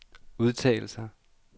udtalelser